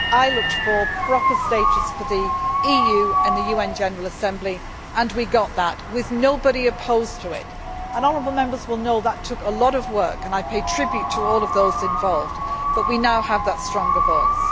I looked for proper status for the EU on the UN General Assembly, and we got that with nobody opposed to it, and honourable Members will know that took a lot of work, and I pay tribute to all of those involved, but we now have that stronger voice.